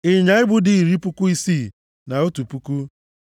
ịnyịnya ibu dị iri puku isii na otu puku (61,000),